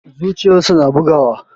Zuciyarsa na bugawa.